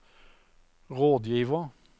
rådgiver